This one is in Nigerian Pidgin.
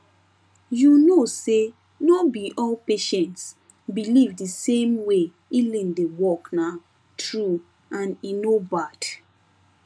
you know say no be all patients believe the same way healing dey workna true and e no bad